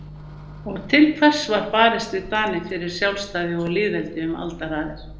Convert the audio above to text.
Og til hvers var barist við Dani fyrir sjálfstæði og lýðveldi um aldaraðir?